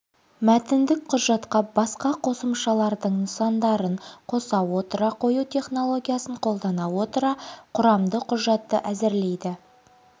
мәтіндік құжатқа басқа қосымшалардың нысандарын қоса отыра қою технологиясын қолдана отыра құрамды құжатты әзірлейді